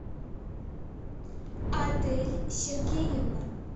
адель сергеевна